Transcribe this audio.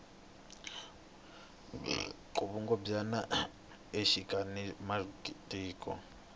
vukungumbyana exikari ka matiko